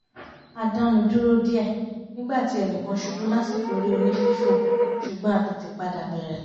a dánu dúró díẹ̀ nígbà tí ẹnìkan ṣubú lásìkò eré onífífò ṣùgbọ́n a tètè padà bẹ̀rẹ̀